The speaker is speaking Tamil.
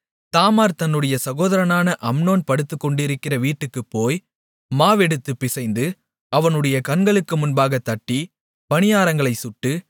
தாமார் தன்னுடைய சகோதரனான அம்னோன் படுத்துக்கொண்டிருக்கிற வீட்டுக்குப்போய் மாவெடுத்துப் பிசைந்து அவனுடைய கண்களுக்கு முன்பாகத் தட்டி பணியாரங்களைச் சுட்டு